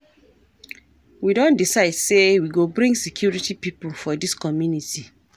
We don decide sey we go bring security pipo for dis community.